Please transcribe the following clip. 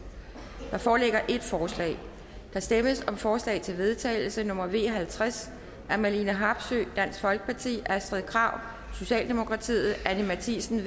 der foreligger et forslag der stemmes om forslag til vedtagelse nummer v halvtreds af marlene harpsøe astrid krag anni matthiesen